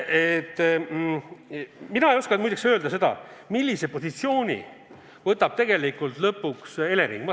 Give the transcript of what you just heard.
Mina ei oska muide öelda, millise positsiooni võtab lõpuks Elering.